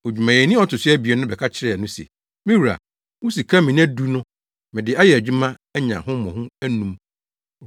“Odwumayɛni a ɔto so abien no ba bɛka kyerɛɛ no se, ‘Me wura, wo sika mina du no, mede ayɛ adwuma anya ho mmɔho anum.’